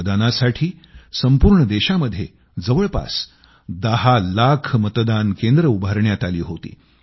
मतदानासाठी संपूर्ण देशामध्ये जवळपास 10 लाख मतदान केंद्र उघडण्यात आली होती